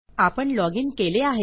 आपण लॉजिन केले आहे